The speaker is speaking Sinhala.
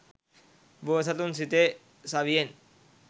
බෝසතුන් සිතේ සවියෙන්